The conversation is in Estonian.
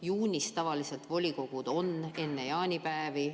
Juunis tavaliselt volikogu koosolekud on enne jaanipäeva.